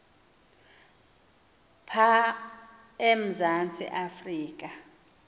pha emzantsi afrika